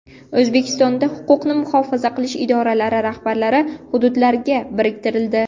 O‘zbekistonda huquqni muhofaza qilish idoralari rahbarlari hududlarga biriktirildi.